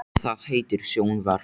Það heitir sjónvarp.